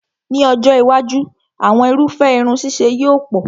Ní ọjọ́ iwájú, àwọn irúfẹ́ irun ṣíṣe yóò pọ̀